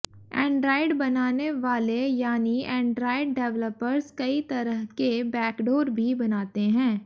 Android बनाने वाले यानी एंड्रायड डेवलपर्स कई तरह के बैकडोर भी बनाते हैं